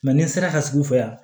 ni n sera ka sugu fɛ yan